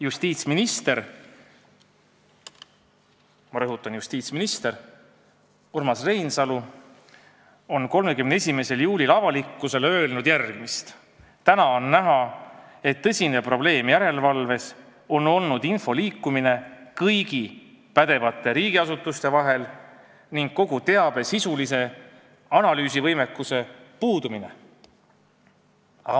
Justiitsminister – ma rõhutan, justiitsminister – Urmas Reinsalu on 31. juulil avalikkusele öelnud järgmist: "Täna on näha, et tõsine probleem järelevalves on olnud info liikumine kõigi pädevate riigiasutuste vahel ning kogu teabe sisulise analüüsi võimekuse puudumine.